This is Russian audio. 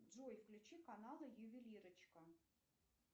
джой включи каналы ювелирочка